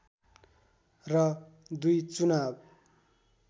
र दुई चुनाव